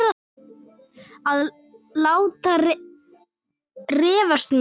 Að láta refsa mér?